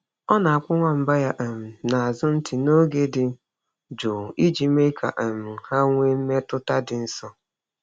Ọ na-akpụ nwamba ya um n’azụ ntị n’oge dị jụụ iji mee ka um ha nwee mmetụta dị nso.